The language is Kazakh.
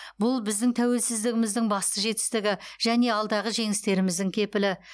бұл біздің тәуелсіздігіміздің басты жетістігі және алдағы жеңістеріміздің кепілі